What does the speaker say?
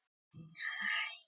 Ný vinnuvika er mætt af stað.